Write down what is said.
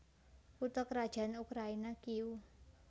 Kutha krajan Ukraina Kiyéw